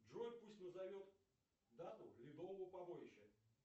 джой пусть назовет дату ледового побоища